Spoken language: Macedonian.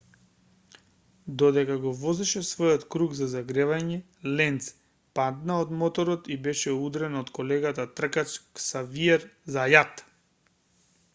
додека го возеше својот круг за загревање ленц падна од моторот и беше удрен од колегата тркач ксавиер зајат